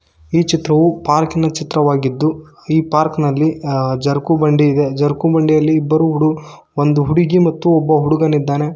ಈ ಚಿತ್ರವು ಪಾರ್ಕ್ ಇನ ಚಿತ್ರವಾಗಿದ್ದು ಈ ಪಾರ್ಕ್ ನಲ್ಲಿ ಜಾರ್ಕು ಬಂಡಿ ಇದೆ ಜಾರ್ಕು ಬಂಡಿಯಲ್ಲಿ ಇಬ್ಬರು ಹುಡು ಒಂದು ಹುಡುಗಿ ಮತ್ತು ಹುಡುಗನಿದ್ದಾನೆ.